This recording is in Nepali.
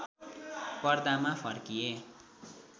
पर्दामा फर्किए